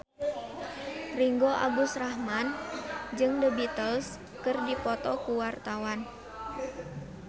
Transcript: Ringgo Agus Rahman jeung The Beatles keur dipoto ku wartawan